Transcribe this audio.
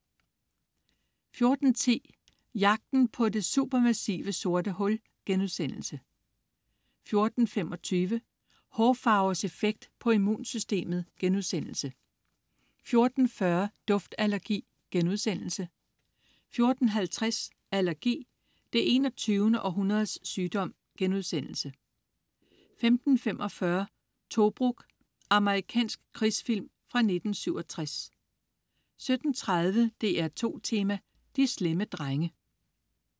14.10 Jagten på det supermassive sorte hul* 14.25 Hårfarvers effekt på immunsystemet* 14.40 Duftallergi* 14.50 Allergi, det 21. århundredes sygdom* 15.45 Tobruk. Amerikansk krigsfilm fra 1967 17.30 DR2 Tema: De slemme drenge